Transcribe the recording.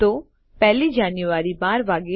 તો 1 લી જાન્યુઆરી ૧૨ વાગે